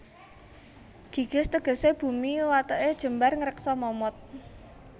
Gigis tegesé bumi watêké jembar ngreksa momot